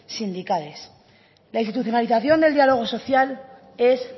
sindicales la institucionalización del diálogo social es